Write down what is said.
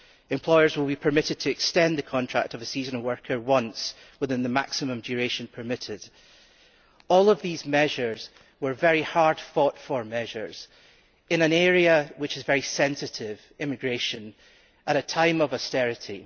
Employers will be permitted to extend the contract of a seasonal worker once within the maximum duration permitted. All of these measures were fought for very hard in an area which is very sensitive immigration at a time of austerity.